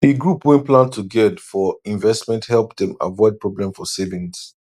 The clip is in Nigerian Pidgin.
d group wey plan togedr for investment help dem avoid problem for savings